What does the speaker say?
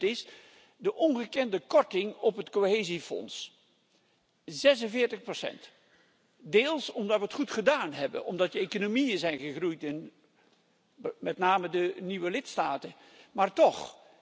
Het tweede punt is de ongekende korting op het Cohesiefonds, 46 deels omdat we het goed gedaan hebben, omdat de economieën zijn gegroeid in met name de nieuwe lidstaten, maar toch.